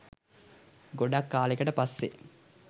ගොඩක් කාලෙකට පස්සේ